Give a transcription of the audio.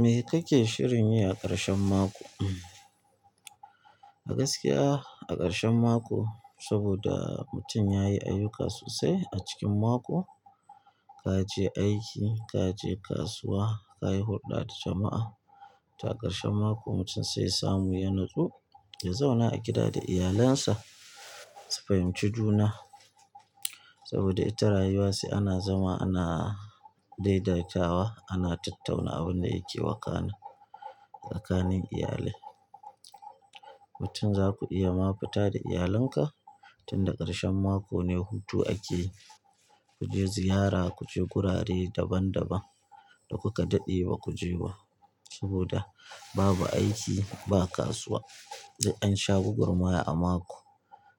Me kake shirin yi a ƙarshen mako. A gaskiya a ƙarshen mako saboda mutum yayi ayyuka sosai a cikin mako, kaje aiki, kaje kasuwa, kayi hulɗa da jama'a. To a ƙarshen mako mutum sai ya samu ya natsu, ya zauna a gida da iyalinsa su fahimci juna. Saboda ita rayuwa sai ana zama ana daidaitawa, ana tattauna abin da yake wakana tsakanin iyali. Mutum zaku iya ma fita da iyalinka tunda ƙarshen mako ne hutu ake. Kuje ziyara, kuje gurare daban daban da kuka daɗe ba kuje ba saboda babu aiki, ba kasuwa. Duk ansha gwagwarmaya a mako